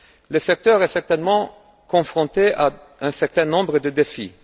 Le secteur est certainement confronté à un certain nombre de défis.